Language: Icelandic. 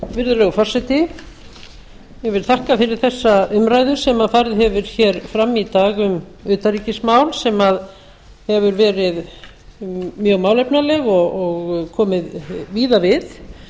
virðulegur forseti ég vil þakka fyrir þessa umræðu sem farið hefur hér fram í dag um utanríkismál sem hefur verið mjög málefnaleg og komið víða við